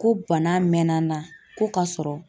Ko bana mɛnna n na, ko ka sɔrɔ